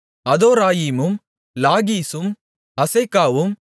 அதோராயீமும் லாகீசும் அசேக்காவும்